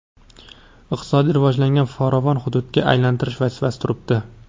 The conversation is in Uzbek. iqtisodiy rivojlangan farovon hududga aylantirish vazifasi turibdi.